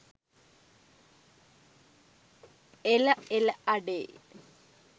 එල එල අඩේ